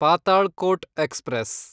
Patalkot express